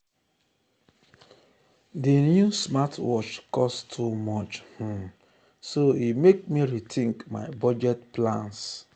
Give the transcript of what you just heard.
di new smartwatch cost too much um so e mek me rethink my budget plans.